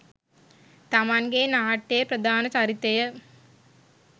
තමන්ගේ නාට්‍යයේ ප්‍රධාන චරිතය